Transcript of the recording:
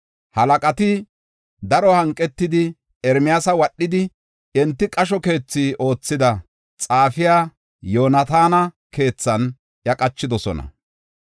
Halaqati daro hanqetidi, Ermiyaasa wadhi, enti qasho keethi oothida, xaafiya Yoonataana keethan iya qachidosona.